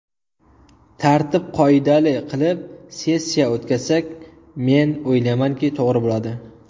Tartib qoidali qilib sessiya o‘tkazsak men o‘ylaymanki to‘g‘ri bo‘ladi.